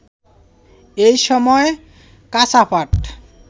একই সময়ে কাঁচা পাট